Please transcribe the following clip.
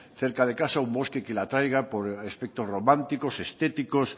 cerca de casa un bosque que le atraiga por aspectos románticos estéticos